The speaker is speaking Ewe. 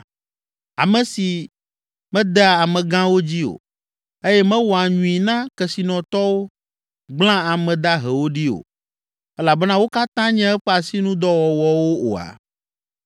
ame si medea amegãwo dzi o eye mewɔa nyui na kesinɔtɔwo, gblẽa ame dahewo ɖi o, elabena wo katã nye eƒe asinudɔwɔwɔwo oa?